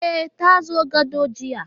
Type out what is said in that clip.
E, ta zoyo gado jiya